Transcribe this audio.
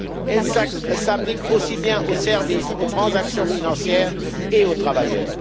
Elles s'appliquent aussi bien aux services, aux transactions financières et aux travailleurs.